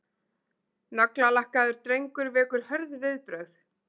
Naglalakkaður drengur vekur hörð viðbrögð